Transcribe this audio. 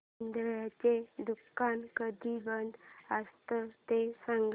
चितळेंचं दुकान कधी बंद असतं ते सांग